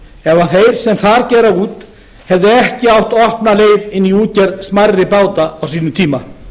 ef þeir sem þar gera út hefðu ekki átt opna leið inn í útgerð smærri báta á sínum tíma